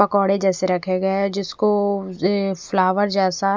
पकोड़े जेसे रखे गये है जिसको ये फ्लावर जेसा--